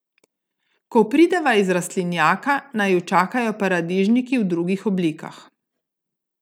Ko prideva iz rastlinjaka, naju čakajo paradižniki v drugih oblikah.